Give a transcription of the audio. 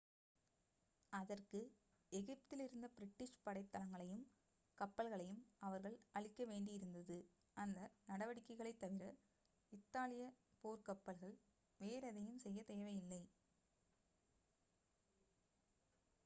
அதற்கு எகிப்தில் இருந்த பிரிட்டிஷ் படைத் தளங்களையும் கப்பல்களையும் அவர்கள் அழிக்க வேண்டியிருந்தது அந்த நடவடிக்கைகளைத் தவிர இத்தாலிய போர்க்கப்பல்கள் வேறெதையும் செய்ய தேவையில்லை